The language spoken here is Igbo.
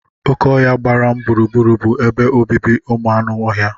Oké ọhia gbara m gburugburu bụ ebe obibi ụmụ anụ ọhịa.